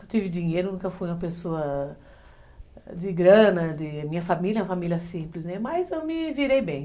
Eu tive dinheiro, nunca fui uma pessoa de grana, minha família é uma família simples, mas eu me virei bem.